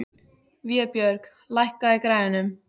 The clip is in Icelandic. Vébjörg, lækkaðu í græjunum.